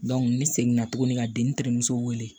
ne seginna tuguni ka den terimuso weele